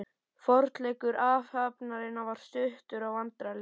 Forleikur athafnarinnar var stuttur og vandræðalegur.